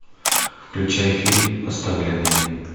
включай фильм оставленные